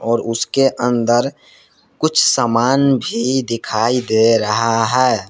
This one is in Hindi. और उसके अंदर कुछ सामान भी दिखाई दे रहा है।